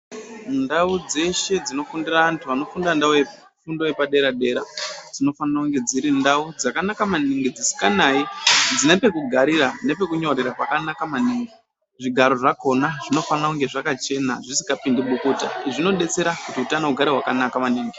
Ndau dzeshe dzinofundira antu anofunda fundo yepadera dera dzinofanire kunge dziri ndau dzakanaka maningi dzosikanayi dzine pekugarira nepekunyorera pakanaka maningi zvigaro zvakona zvinofana kunge zvakachena zvisingapindi bukuta izvi zvinodetsera kuti utano ugare hwakanaka maningi.